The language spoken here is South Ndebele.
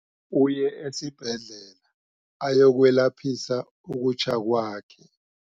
Uye esibhedlela ayokwelaphisa ukutjha kwakhe.